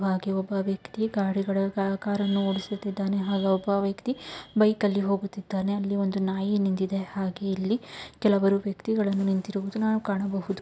ಹಾಗೆ ಒಬ್ಬ ವ್ಯಕ್ತಿ ಗಡಿಗಳ ಕಾರನ್ನು ಓಡಿಸುತ್ತಿದ್ದಾನೆ ಹಾಗೆ ಒಬ್ಬ ವ್ಯಕ್ತಿ ಬೈಕ್ ಅಲ್ಲಿ ಹೋಗುತ್ತಿದ್ದಾನೆ ಅಲ್ಲಿ ಒಂದು ನಾಯಿ ನಿಂತಿದೆ ಹಾಗೆ ಇಲ್ಲಿ ಕೆಲವರು ವ್ಯಕ್ತಿಗಳು ನಿಂತಿರುವುದನ್ನು ನಾವು ಕಾಣಬಹುದು.